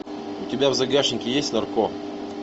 у тебя в загашнике есть нарко